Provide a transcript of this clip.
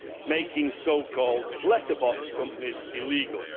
making so called letterbox companies illegal.